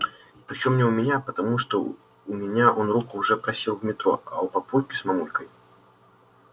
причём не у меня потому что у меня он руку уже просил в метро а у папульки с мамулькой